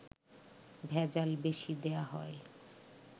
ভেজাল বেশি দেয়া হয়